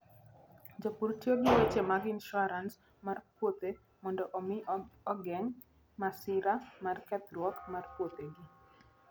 Jopur tiyo gi weche mag insuarans mar puothe mondo omi gigeng' masira mar kethruok mar puothegi.